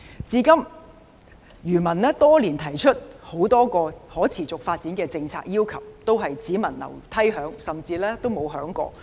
至今，漁民多年來提出很多可持續發展的政策要求，都是"只聞樓梯響"，甚至沒有響過。